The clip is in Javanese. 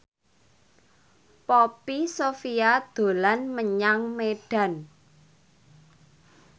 Poppy Sovia dolan menyang Medan